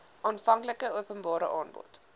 aanvanklike openbare aanbod